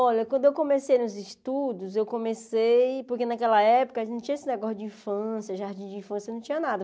Olha, quando eu comecei nos estudos, eu comecei porque naquela época não tinha esse negócio de infância, jardim de infância, não tinha nada.